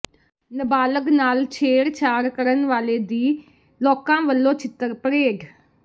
ਨਾਬਾਲਗ ਨਾਲ ਛੇੜਛਾੜ ਕਰਨ ਵਾਲੇ ਦੀ ਲੋਕਾਂ ਵੱਲੋਂ ਛਿੱਤਰ ਪਰੇਡ